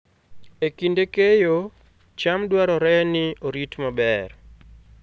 E kinde keyo, cham dwarore ni orit maber